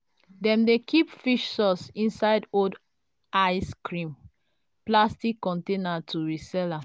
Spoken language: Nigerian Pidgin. dem dey keep fish sauce inside old ice cream plastic container to resell am.